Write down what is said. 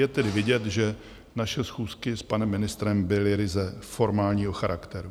Je tedy vidět, že naše schůzky s panem ministrem byly ryze formálního charakteru.